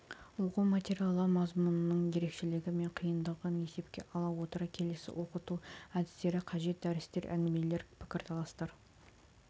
оқу материалы мазмұнының ерекшелігі мен қиындығын есепке ала отыра келесі оқыту әдістері қажет дәрістер әңгімелер пікірталастар